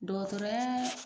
Dɔgɔtɔrɔya